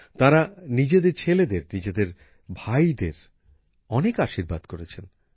তাঁরা নিজেদের ছেলেদের নিজেদের ভাইদের অনেক আশীর্বাদ করেছেন